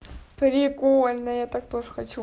прикольно я так тоже хочу